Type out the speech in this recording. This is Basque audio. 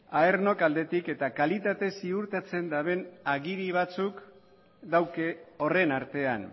aenor aldetik eta kalitatea ziurtatzen daben agiri batzuk dauke horren artean